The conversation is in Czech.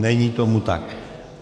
Není tomu tak.